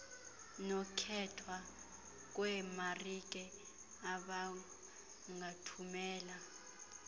nokkhethwa kweemarike abangathumela